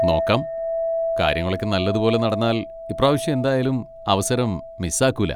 നോക്കാം, കാര്യങ്ങളൊക്കെ നല്ലതുപോലെ നടന്നാൽ ഇപ്രാവശ്യം എന്തായാലും അവസരം മിസ് ആക്കൂല.